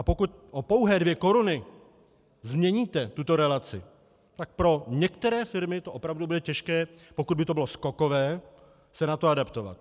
A pokud o pouhé dvě koruny změníte tuto relaci, tak pro některé firmy to opravdu bude těžké, pokud by to bylo skokové, se na to adaptovat.